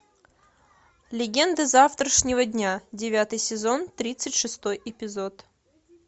легенды завтрашнего дня девятый сезон тридцать шестой эпизод